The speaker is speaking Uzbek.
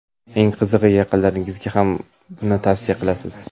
Eng qizig‘i, yaqinlaringizga ham buni tavsiya qilasiz.